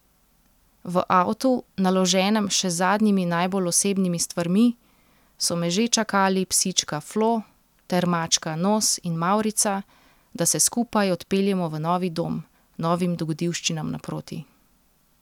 V avtu, naloženem še z zadnjimi najbolj osebnimi stvarmi, so me že čakali psička Flo ter mačka Nos in Mavrica, da se skupaj odpeljemo v novi dom, novim dogodivščinam naproti.